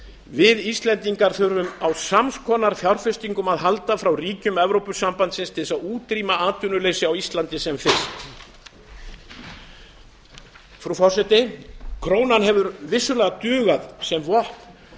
við íslendingar þurfum á sams konar fjárfestingum að halda frá ríkjum evrópusambandsins til að útrýma atvinnuleysi á íslandi sem fyrst frú forseti krónan hefur vissulega dugað sem vopn